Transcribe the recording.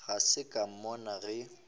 ga se ka mmona ge